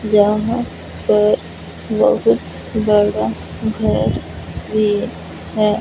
जहां पर बहुत बड़ा घर ये है।